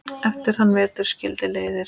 Eftir þann vetur skildi leiðir.